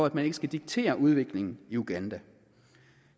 at man ikke skal diktere udviklingen i uganda